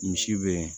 Misi be